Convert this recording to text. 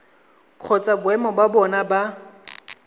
kgotsa boemo ba bona ba